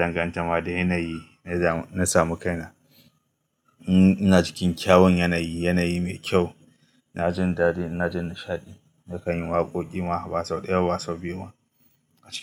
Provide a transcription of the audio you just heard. danganta ma da yanayi na samu kaina. In ina cikin kyawun yanayi, yanayi mai kyau. Na jin daɗi, ina jin nishaɗi. Nakan yi waƙoƙi ma ba sau ɗaya ba sau biyu ma a cikin.